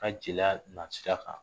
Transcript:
Ka jeliya nasira kan